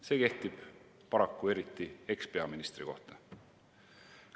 See kehtib paraku eriti ekspeaministri kohta.